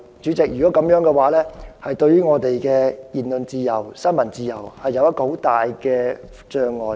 主席，這會對言論自由和新聞自由造成很大障礙。